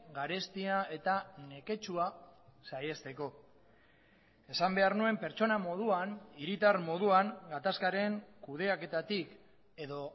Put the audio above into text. garestia eta neketsua saihesteko esan behar nuen pertsona moduan hiritar moduan gatazkaren kudeaketatik edo